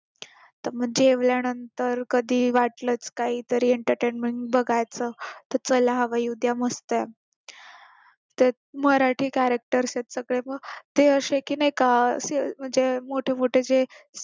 जेवल्यानंतर कधी वाटलंच काहीतरी आणि entertainment बघायचं चला हवा येऊ द्या मस्त ते मराठी characters आहेत सगळे मग ते असे की नाही का म्हणजे मोठे मोठे जे